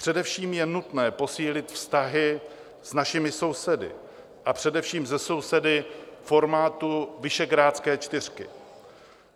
Především je nutné posílit vztahy s našimi sousedy, a především se sousedy formátu Visegrádské čtyřky.